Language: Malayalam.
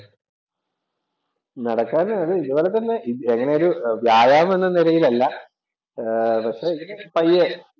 നടക്കാന്‍ അത് ഇതുപോലെ തന്നെ അങ്ങനെയൊരു വ്യായാമം എന്ന നിലയിൽ അല്ല. പക്ഷേ ഇങ്ങനെ പയ്യെ